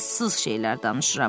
ağılsız şeylər danışıram.